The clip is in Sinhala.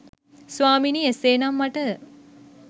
ස්වාමිනි එසේනම් මට